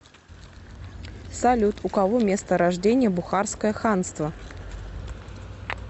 салют у кого место рождения бухарское ханство